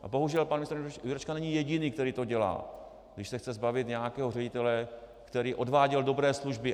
A bohužel pan ministr Jurečka není jediný, který to dělá, když se chce zbavit nějakého ředitele, který odváděl dobré služby.